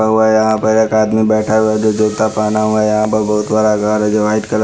हुआ है यहां पर एक आदमी बैठा हुआ है जो जूता पहना हुआ है यहां पर बहुत बड़ा घर है जो वाइट कलर --